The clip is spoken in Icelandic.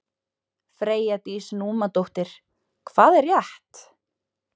Freyja Dís Númadóttir: Hvað er rétt?